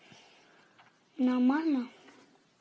нормально